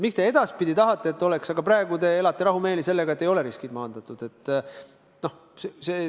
Miks te tahate, et edaspidi oleks, aga praegu elate rahumeeli sellega, et ei ole riskid maandatud?